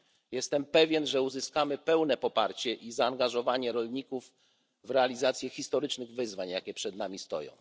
Jestem pewien, że uzyskamy pełne poparcie i zaangażowanie rolników w realizację historycznych wyzwań, jakie przed nami stoją.